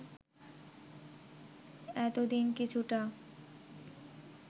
এতদিন কিছুটা